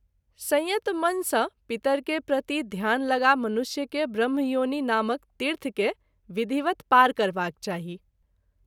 संयत मन सँ पितर के प्रति ध्यान लगा मनुष्य के ब्रह्मयोनि नामक तीर्थ के विधिवत पार करबाक चाही।